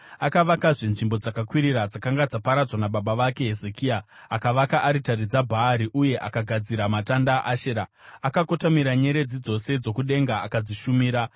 Akavakazve nzvimbo dzakakwirira dzakanga dzaparadzwa nababa vake Hezekia. Akavaka aritari dzaBhaari uye akagadzira matanda aAshera. Akakotamira nyeredzi dzose dzokudenga akadzishumira.